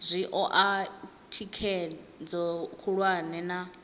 zwi oa thikhedzo khulwane na